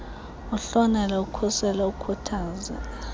uhlonele ukhusele ukhuthaze